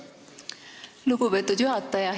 Aitäh, lugupeetud juhataja!